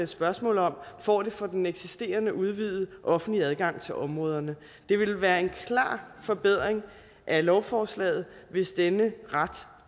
spørgsmål om får det for den eksisterende udvidede offentlige adgang til områderne det ville være en klar forbedring af lovforslaget hvis denne ret